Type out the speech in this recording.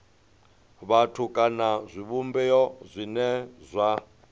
vhathu kana zwivhumbeo zwine zwa